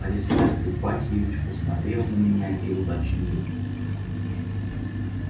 аристарх ипатьевич посмотрел на меня и уточнил